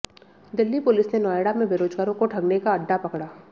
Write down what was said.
Delhi police ने नोएडा में बेरोजगारों को ठगने का अड्डा पकड़ा